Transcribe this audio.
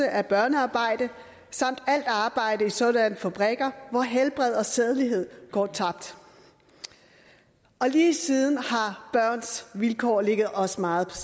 af børnearbejde samt alt arbejde i saadanne fabrikker hvor helbred og sædelighed gaar tabt lige siden har børns vilkår ligget os meget